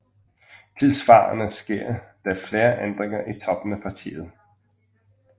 Tilsvarende sker der flere ændringer i toppen af partiet